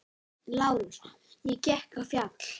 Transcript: LÁRUS: Ég gekk á fjall.